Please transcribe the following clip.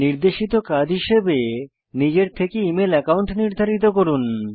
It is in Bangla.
নির্দেশিত কাজ হিসাবে নিজের থেকে ইমেল অ্যাকাউন্ট নির্ধারিত করুন